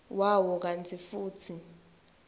wawo kantsi futsi